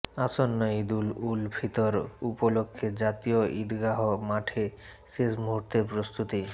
আসন্ন ঈদুল উল ফিতর উপলক্ষে জাতীয় ঈদগাহ মাঠে শেষ মুহূর্তের প্রস্তুতি